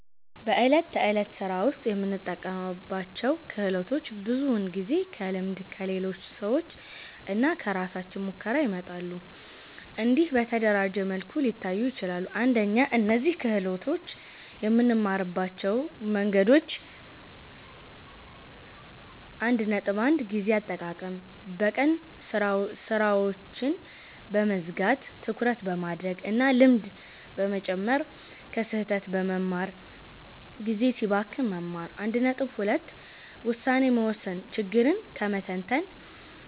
በዕለት ተዕለት ሥራ ውስጥ የምንጠቀምባቸው ክህሎቶች ብዙውን ጊዜ ከልምድ፣ ከሌሎች ሰዎች እና ከራሳችን ሙከራ ይመጣሉ። እንዲህ በተደራጀ መልኩ ሊታዩ ይችላሉ፦ 1) እነዚህን ክህሎቶች የምንማርባቸው መንገዶች 1.1 ጊዜ አጠቃቀም በቀን ሥራዎችን በመዝጋት ትኩረት በማድረግ እና ልምድ በመጨመር ከስህተት በመማር (ጊዜ ሲባክን መማር) 1.2 ውሳኔ መወሰን ችግርን በመተንተን